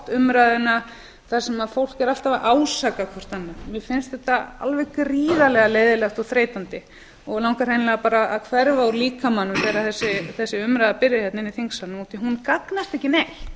umræðuna þar sem fólk er alltaf að ásaka hvert annað mér finnst þetta alveg gríðarlega leiðinlegt og þreytandi og mig langar hreinlega að hverfa úr líkamanum þegar þessi umræða byrjar hérna inni í þingsalnum hún gagnast ekki neitt